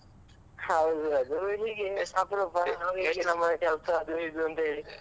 ಹೌದ್ ಅದು ಇಲ್ಲಿಗೆ ಅಪ್ರೂಪ ಎಷ್ಟ್ ಸಮಯ ಅದು ಇದು ಅಂಥೇಳಿ.